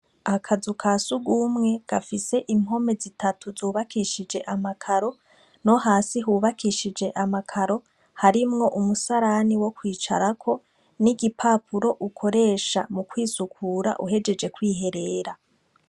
Akazu ka siugumwe gafise impome zitatu zubakishije amakaro no hasi hubakishije amakaro harimwo umusarani wo kwicarako n'igipapuro ukoresha mu kwisukura uhejeje kwiherera.